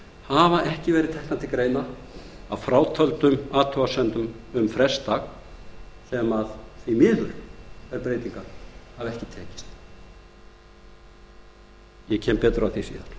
hafa ekki verið teknar til greina að frátöldum athugasemdum um frestdag því miður hafa þær breytingar ekki tekist ég kem betur að